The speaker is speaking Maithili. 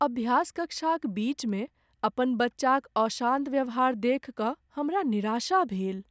अभ्यास कक्षाक बीच में अपन बच्चाक अशान्त व्यवहार देखि कऽ हमरा निराशा भेल।